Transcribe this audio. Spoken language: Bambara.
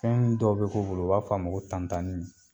Fɛn dɔ bi k'u bolo u b'a fa ma ko tantanni